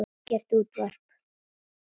Ekkert útvarp.